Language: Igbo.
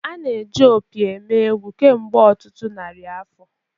A na-eji opi eme egwu kemgbe ọtụtụ narị afọ.